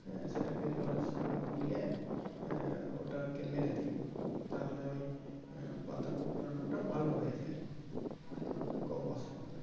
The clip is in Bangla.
সেটাকে জলের সঙ্গে গুলিয়ে আহ ওটাকে মেরে দেয় তাহলে ওই আহ পাতা কুঁকড়ানোটা ভালো হয়ে যাই আর পোকাও বসে না